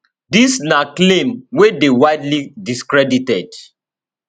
dis na claim wey dey widely discredited